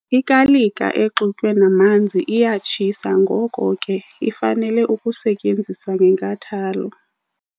Ikalika exutywe namanzi iyatshisa ngoko ke, ifanele ukusetyenziswa ngenkathalo.